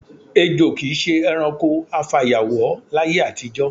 Èjo kì í s̩e e̩ranko afàyàwó láyé àtijó̩.